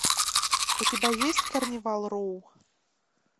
у тебя есть карнивал роу